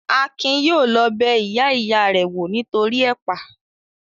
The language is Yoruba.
Akin yóò lọ bẹ ìyá ìya rẹ̀ wò nítoríi ẹ̀pà